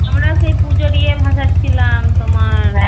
আমরা সেই পুজো দিয়ে ভাসাচ্ছিলাম তোমার